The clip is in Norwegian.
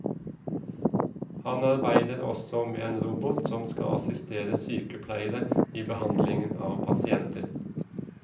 Han arbeider også med en robot som skal assistere sykepleiere i behandlingen av pasienter.